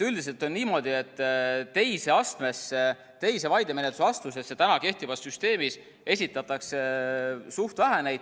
Üldiselt on niimoodi, et teise vaidemenetluse astmesse täna kehtivas süsteemis esitatakse neid suht vähe.